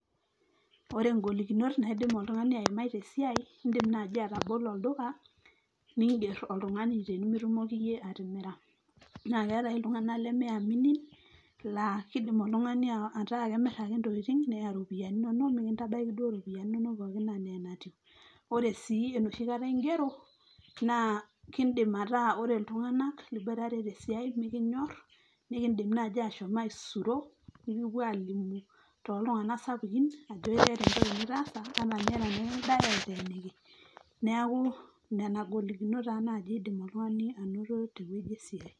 ore ingolikinot naidim oltung'ani aimai tesiai indim naaji atabolo olduka ningerr oltung'ani tenimitumoki iyie atimira naa keetae iltung'anak leme aminin laa kidim oltung'ani ataa kemirr ake intokiting neya iropiyiani inonok mikintabaiki duo iropiyiani inonok pookin enaa enatiu ore sii enoshi kata ingero naa kindim ataa ore iltung'anak liboitare tesiai mikinyorr nikindim naaji ashom aisuro nikipuo alimu toltung'anak sapukin ajo keeta entoki nitaasa ata ninye tenikingirae aiteeniki neeku nana golikinot taa naaji idim oltung'ani anoto tewueji esiai.